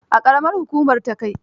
A ƙaramar hukumar Takai.